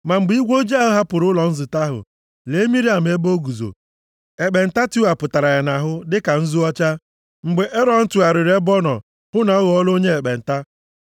Ma mgbe igwe ojii ahụ hapụrụ ụlọ nzute ahụ, lee Miriam ebe o guzo, ekpenta tiwapụtara ya nʼahụ dịka nzu ọcha. Mgbe Erọn tụgharịrị ebe ọ nọ hụ na ọ ghọọla onye ekpenta,